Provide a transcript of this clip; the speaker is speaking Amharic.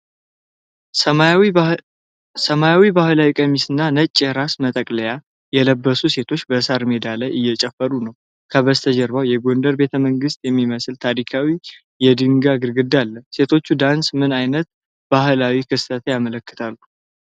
ሰማያዊ ባህላዊ ቀሚስና ነጭ የራስ መጠቅለያ የለበሱ ሴቶች በሣር ሜዳ ላይ እየጨፈሩ ነው። ከበስተጀርባ የጎንደር ቤተመንግስትን የሚመስል ታሪካዊ የድንጋይ ግድግዳ አለ። የሴቶቹ ዳንስ ምን ዓይነት ባህላዊ ክስተት ያመለክታል?